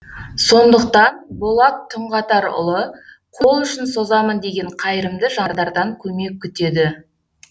сондықтан болат түнғатарұлы қол ұшын созамын деген қайырымды жандардан көмек күтеді